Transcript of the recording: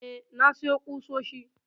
eh, na siyo kusoshi